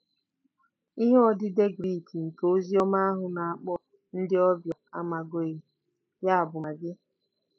Ihe odide Grik nke Oziọma ahụ na-akpọ ndị ọbịa a maʹgoi, ya bụ, “ magi .”